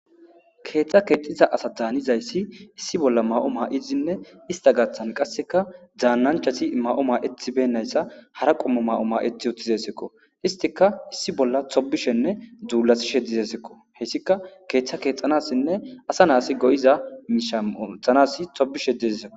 Kexa kexiza asati hanizayssi issi bolla mayo mayidinne ista gaththan qasekka danachati mayo mayetibeynasta hara qoommo mayo mayetti uttidayssatakko isttikka issi bolla tobishenne duullattishe dizayttakko hayisikka keththa kexxanasinne asa nas goiza miishsha ooththanas tobishe dizayssakko